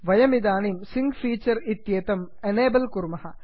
वयमिदानीं sync feature इत्येतम् enable कुर्मः